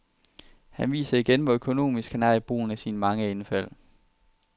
Han viser igen, hvor økonomisk han er i brugen af sine mange indfald.